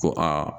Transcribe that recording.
Ko aa